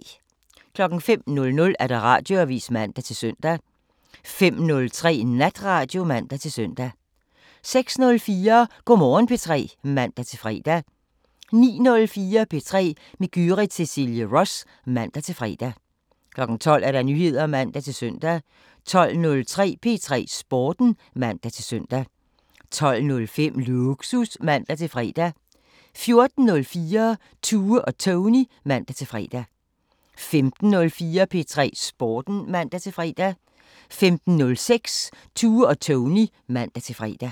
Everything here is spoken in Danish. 05:00: Radioavisen (man-søn) 05:03: Natradio (man-søn) 06:04: Go' Morgen P3 (man-fre) 09:04: P3 med Gyrith Cecilie Ross (man-fre) 12:00: Nyheder (man-søn) 12:03: P3 Sporten (man-søn) 12:05: Lågsus (man-fre) 14:04: Tue og Tony (man-fre) 15:04: P3 Sporten (man-fre) 15:06: Tue og Tony (man-fre)